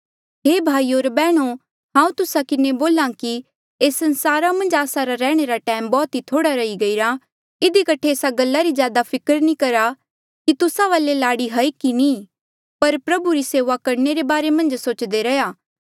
हे भाईयो होर बैहणो हांऊँ तुस्सा किन्हें बोल्हा कि एस संसारा मन्झ आस्सा रा रैहणे रा टैम बौह्त थोह्ड़ा रही गईरा इधी कठे एस्सा गल्ला री ज्यादा फिकर नी करा कि तुस्सा वाले लाड़ी हाई की नी ई पर प्रभु री सेऊआ करणे रे बारे मन्झ सोचदे रैहया